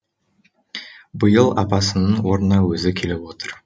биыл апасының орнына өзі келіп отыр